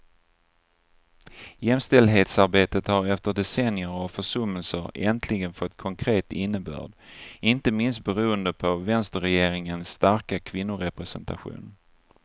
Jämställdhetsarbetet har efter decennier av försummelser äntligen fått konkret innebörd, inte minst beroende på vänsterregeringens starka kvinnorepresentation.